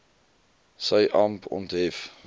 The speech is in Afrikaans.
sy amp onthef